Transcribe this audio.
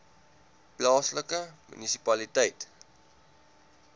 plaaslike munisipaliteit